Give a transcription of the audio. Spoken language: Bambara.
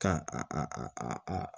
Ka